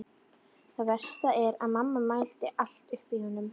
Það versta er að mamma mælir allt upp í honum.